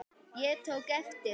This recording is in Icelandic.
Ég tók eftir því.